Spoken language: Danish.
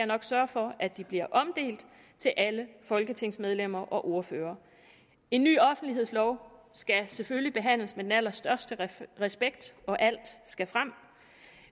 nok sørge for at de bliver omdelt til alle folketingsmedlemmer og ordførere en ny offentlighedslov skal selvfølgelig behandles med den allerstørste respekt og alt skal frem